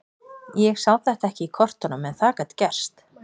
Ég sá þetta ekki í kortunum en það gat gerst.